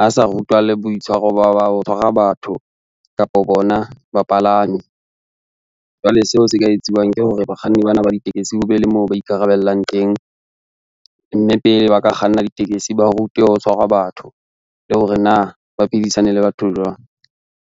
a sa rutwa le boitshwaro ba ho tshwara batho kapo bona bapalami. Jwale seo se ka etsuwang ke hore bakganni bana ba ditekesi, ho be le moo ba ikarabellang teng, mme pele ba ka kganna ditekesi ba rutwe ho tshwarwa batho le hore na ba phedisane le batho jwang.